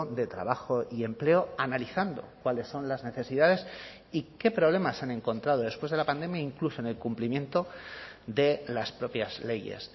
de trabajo y empleo analizando cuáles son las necesidades y qué problemas han encontrado después de la pandemia incluso en el cumplimiento de las propias leyes